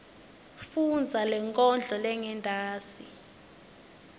fundza lenkondlo lengentasi